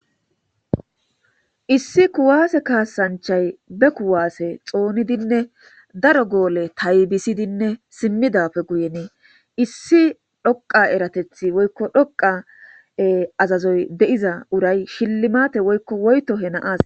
issi kuwaase kaasanchay be kuwaase xoonidinne daro goole taybisidinne simmidappe guyenii issi dhoqa eratethi woykko dhoqa azazoy de'iza uray shillimate woykko woyto he na'as